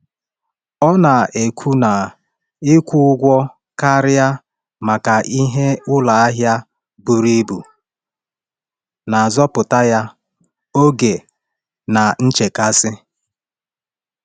Ọ na-ekwu na ịkwụ ụgwọ karịa maka ihe n’ụlọ ahịa buru ibu na-azọpụta ya oge na nchekasị.